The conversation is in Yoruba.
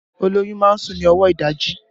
Olóyún máa ń sùn ní ọwọ ìdajì